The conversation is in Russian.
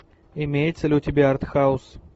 имеется ли у тебя артхаус